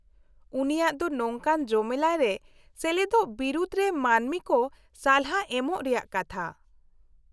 -ᱩᱱᱤᱭᱟᱜ ᱫᱚ ᱱᱚᱝᱠᱟᱱ ᱡᱚᱢᱮᱞᱟᱭ ᱨᱮ ᱥᱮᱞᱮᱫᱚᱜ ᱵᱤᱨᱩᱫ ᱨᱮ ᱢᱟᱹᱱᱢᱤ ᱠᱚ ᱥᱟᱞᱦᱟ ᱮᱢᱚᱜ ᱨᱮᱭᱟᱜ ᱠᱟᱛᱷᱟ ᱾